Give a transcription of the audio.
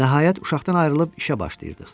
Nəhayət, uşaqdan ayrılıb işə başlayırdıq.